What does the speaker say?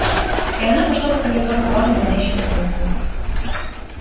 и она пошла по коридору плавноманящей походкой